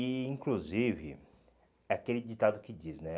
E, inclusive, é aquele ditado que diz, né?